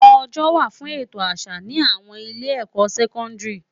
Òjò wá fún ètó àsá ni áwòn ilé èkò sèkòndiri